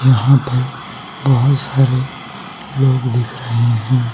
यहां पर बहुत सारे लोग दिख रहे हैं।